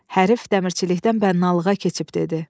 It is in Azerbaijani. Hərif dəmirçilikdən bənnalığa keçib dedi.